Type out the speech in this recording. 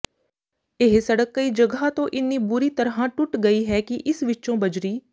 ਇਹ ਸੜਕ ਕਈ ਜਗ੍ਹਾ ਤੋਂ ਇੰਨੀ ਬੁਰੀ ਤਰ੍ਹਾਂ ਟੱੁਟ ਗਈ ਹੈ ਕਿ ਇਸ ਵਿੱਚੋਂ ਬਜਰੀ